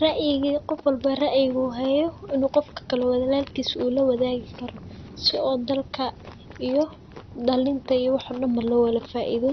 raiyiga qofka uu kadagesto qofka kale una lawadagi karosii ey dalka iyo dalintabo lowada fadio.